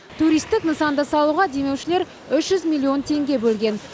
туристік нысанды салуға демеушілер үш жүз миллион теңге бөлген